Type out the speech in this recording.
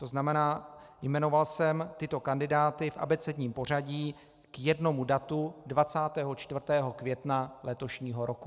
To znamená, jmenoval jsem tyto kandidáty v abecedním pořadí k jednomu datu 24. května letošního roku.